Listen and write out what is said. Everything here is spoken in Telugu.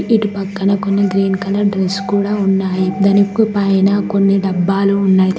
ఇటుపక్కన కొన్ని గ్రీన్ కలర్ డ్రెస్ కూడా ఉన్నాయి దానికు పైన కొన్ని డబ్బాలు కూడా ఉన్నది.